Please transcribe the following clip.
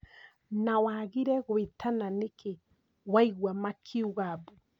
Na wagire gwĩtana nĩkĩ waigua makiuga mbu?